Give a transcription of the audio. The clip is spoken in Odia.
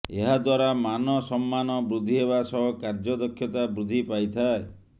ଏହାଦ୍ବାରା ମାନସମ୍ମାନ ବୃଦ୍ଧି ହେବା ସହ କାର୍ଯ୍ୟ ଦକ୍ଷତା ବୃଦ୍ଧି ପାଇଥାଏ